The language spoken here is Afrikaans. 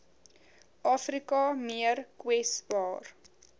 afrika meer kwesbaar